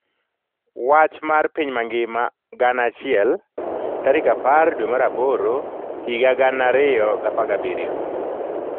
Wach mar piny mangima 1000 10/08/2017